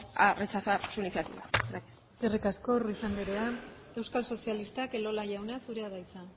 a rechazar su iniciativa gracias eskerrik asko ruiz andrea euskal sozialistak elola jauna zurea da hitza